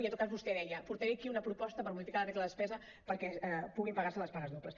i en tot cas vostè deia portaré aquí una proposta per modificar la regla de despesa perquè pugin pagar se les pagues dobles